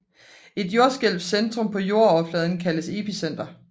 Et jordskælvs centrum på jordoverfladen kaldes epicenter